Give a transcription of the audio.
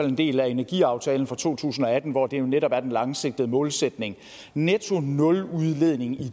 en del af energiaftalen fra to tusind og atten hvor det jo netop er den langsigtede målsætning nettonuludledning i